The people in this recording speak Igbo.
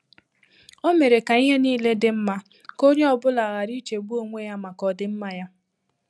Ọ́ mèrè kà ìhè níílé dị́ mmá kà ónyé ọ bụ́lá ghàrà ìchégbú ónwé yá màkà ọdị́mmá yá.